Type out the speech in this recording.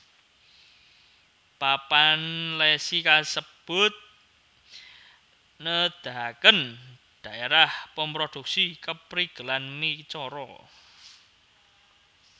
Papan lesi kasebut nedahaken daerah pemroduksi kaprigelan micara